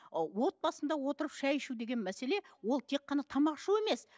ы отбасында отырып шай ішу деген мәселе ол тек қана тамақ ішу емес